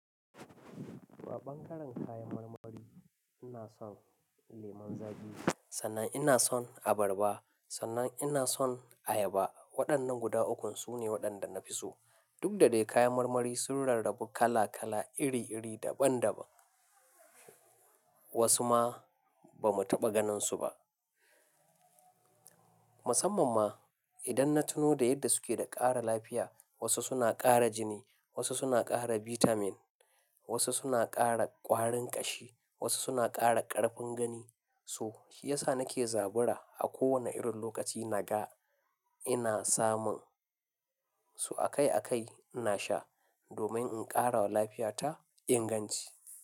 Toh, a ɓangaren kayan marmari ina son lemon zaƙi, sannan ina son abarba, sannan ina son ayaba. Waɗannan guda ukun su ne waɗanda na fi so. Duk da dai kayan marmari sun rarrabu kala kala, iri iri, daban daban. Wasu ma, ba mu taɓa ganin su ba. Musamman ma, idan na tuno da yadda suke da ƙara lafiya. Wasu suna ƙara jini, wasu suna ƙara bitamin, wasu suna ƙara ƙwarin ƙashi, wasu suna ƙara ƙarfin gani. To, shi ya sa nake zabura a kowane irin lokaci naga ina samun su akai akai ina sha domin in ƙara wa lafiya ta inganci.